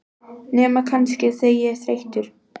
Nema kannski, þegar ég er þreyttur.